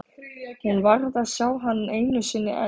Hún varð að sjá hann einu sinni enn.